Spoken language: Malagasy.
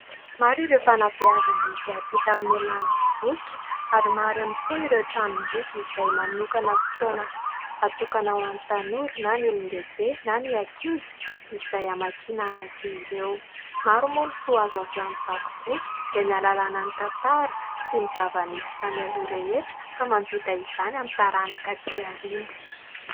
Maro ireo fanabeazana izay hampita amin'ny alalan'ny boky ary maro ihany koa ireo tranom-boky izay manokana fotoana atokana ho an'ny tanora na ny olon-dehibe na ny ankizy izay hamakiana azy ireo. Maro moa ny soa azo avy amin'ny vaky boky dia ny ahalalàna ny tantara sy ny zava-nisy tany aloha rehetra ka mampita izany amin'ny taranaka atỳ aoriana.